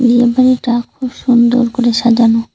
বিয়ে বাড়িটা খুব সুন্দর করে সাজানো।